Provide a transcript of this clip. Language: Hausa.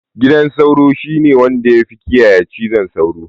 Gidan sauro shine wanya da tafi kiyaye cizon sauro